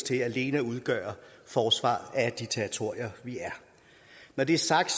til alene at udgøre forsvaret af de territorier vi er når det er sagt